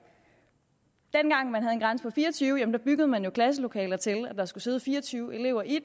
dengang man havde en grænse på fire og tyve elever byggede man jo klasselokalet til at der skulle sidde fire og tyve elever i